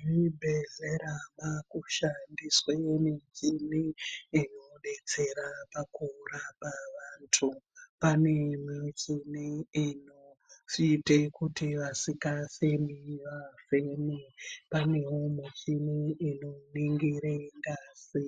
Zvibhedlela zvaakushandiswe michini inobetsera pakurapa vantu. Pane imwe michini inoite kuti vasingafemi vafeme. Panewo michini inoningire ngazi